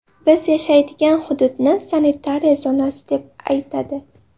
Biz yashaydigan hududni sanitariya zonasi deb aytadi.